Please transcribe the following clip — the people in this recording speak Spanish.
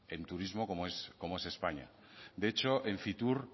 en turismo como es españa de hecho en fitur